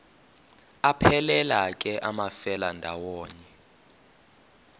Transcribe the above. aphelela ke amafelandawonye